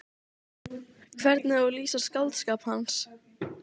Það var hatur í svip ókunnuga mannsins.